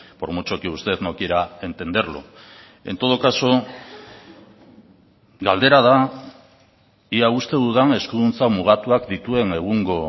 por mucho que usted no quiera entenderlo en todo caso galdera da ia uste dudan eskuduntza mugatuak dituen egungo